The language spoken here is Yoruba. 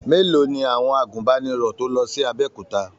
Mélòó ni àwọn àgùnbánirọ̀ tó lọ sí Abẹ́òkúta?